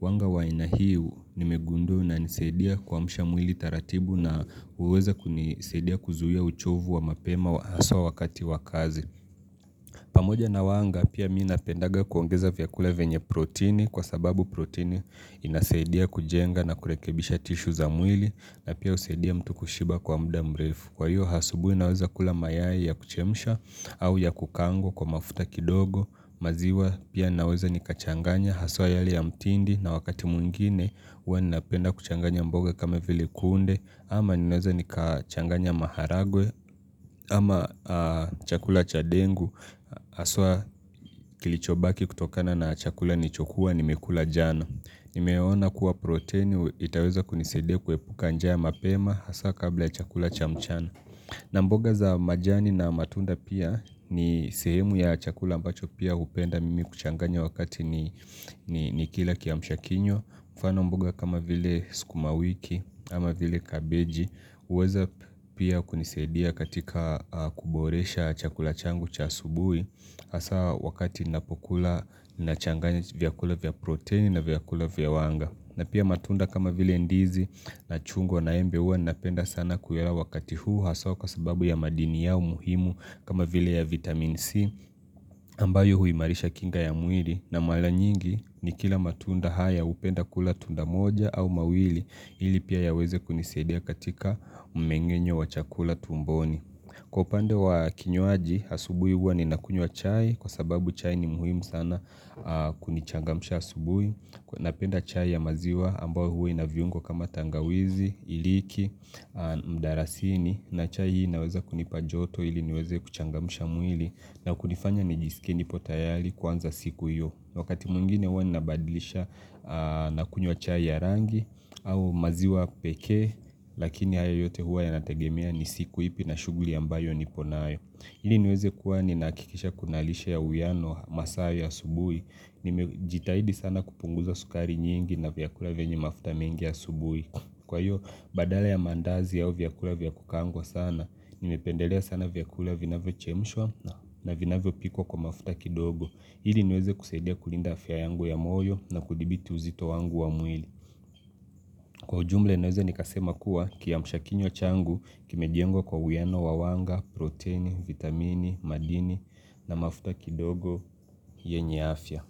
Wanga wa inahiu nimegundu na nisedia kwa mshamwili taratibu na uweza kunisedia kuzuhia uchovu wa mapema aswa wakati wakazi. Pamoja na wanga pia mina pendaga kuongeza vyakula venye protini kwa sababu protini inasedia kujenga na kurekebisha tishu za mwili na pia usaidia mtu kushiba kwa mda mrefu. Kwa hiyo hasubui naweza kula mayaye ya kuchemisha au ya kukango kwa mafuta kidogo maziwa pia naweza nikachanganya haswa yali ya mtindi na wakati mungine uwe ninaapenda kuchanganya mboga kama vile kunde ama ninaweza nikachanganya maharagwe ama chakula chadengu Haswa kilichobaki kutokana na chakula nichokua nimekula jana Nimeona kuwa protein itaweza kunisede kwe puka njaya mapema Haswa kabla chakula chamchana na mboga za majani na matunda pia ni sehemu ya chakula ambacho pia upenda mimi kuchanganya wakati ni kila kiamshakinywa kufana mboga kama vile skumawiki ama vile kabeji uweza pia kunisedia katika kuboresha chakula changu chasubui Hasa wakati inapokula inachanganya vyakula vya protein na vyakula vya wanga na pia matunda kama vile ndizi na chungo na embe uwa napenda sana kuyela wakati huu hasoka sababu ya madini yao muhimu kama vile ya vitamin C ambayo huimarisha kinga ya mwili na malanyingi ni kila matunda haya upenda kula tunda moja au mawili ili pia yaweze kunisedia katika umengenye wa chakula tumboni. Kwa upande wa kinywaji, asubui huwa ni nakunywa chai kwa sababu chai ni muhimu sana kunichangamusha asubui. Napenda chai ya maziwa ambao huwe na viungo kama tangawizi, iliki, mdarasini na chai hii naweza kunipa joto ili niweze kuchangamusha mwili na kunifanya nijisikini potayali kwanza siku hiyo. Wakati mungine wani nabadilisha na kunywa chai ya rangi au maziwa peke Lakini haya yote hua ya nategemia ni siku ipi na shuguli ambayo niponayo Hili niweze kuwa ni nakikisha kunalisha ya uyano masayo ya subui Nimejitahidi sana kupunguza sukari nyingi na vyakula venye mafuta mingi ya subui Kwa hiyo badala ya mandazi yao vyakula vyakukango sana Nimependelea sana vyakula vina vyo chemishwa na vina vyo piko kwa mafuta kidogo Hili nweze kuseidia kulinda afya yangu ya moyo na kudibiti uzito wangu wa mwili. Kwa jumble nweze nikasema kuwa kia mshakinyo changu kime diengo kwa huyano wawanga, protein, vitamini, madini na mafuta kidogo yenye afya.